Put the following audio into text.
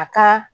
A ka